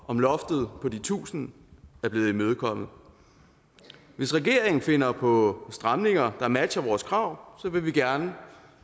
om loftet på de tusind er blevet imødekommet hvis regeringen finder på stramninger der matcher vores krav vil vi gerne